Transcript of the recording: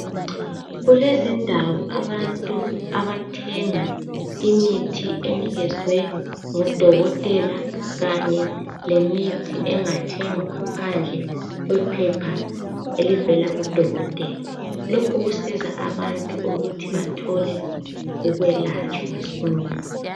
Kulezindawo abantu abathenga imithi enikezwe ngodokotela kanye lemithi engathengwa ngaphandle kwephepha elivela kudokotela lokhu kusiza abantu ukuthi bathole ukwelatshwa masinya